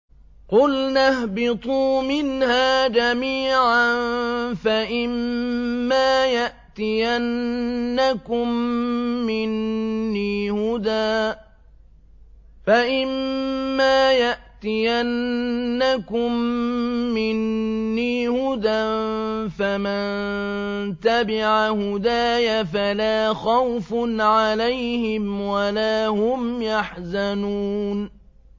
قُلْنَا اهْبِطُوا مِنْهَا جَمِيعًا ۖ فَإِمَّا يَأْتِيَنَّكُم مِّنِّي هُدًى فَمَن تَبِعَ هُدَايَ فَلَا خَوْفٌ عَلَيْهِمْ وَلَا هُمْ يَحْزَنُونَ